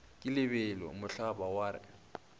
ke lebelo mohlaba wa re